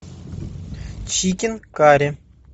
чикен карри